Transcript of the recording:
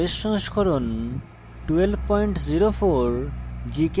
ubuntu linux os সংস্করণ 1204